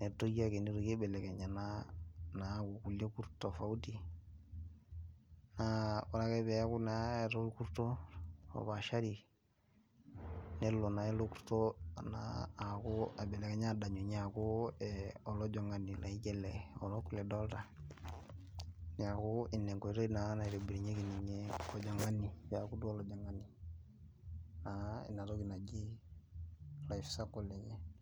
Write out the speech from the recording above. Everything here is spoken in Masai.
netii ake nitoki aibelekenya. naa aaku kulie Kurt tofauti, naa ore ake peeku naa olkurto naa opaashri, nelo naa ele kurto aibelekenyunye aaku olajingani, laijo ele orok lidolta, neeku Ina enkoitoi naotobirunye naa olajingani, peeku duo olajingani naa Ina toki, naji ebae sapuk ninye.